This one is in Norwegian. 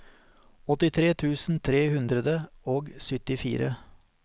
åttitre tusen tre hundre og syttifire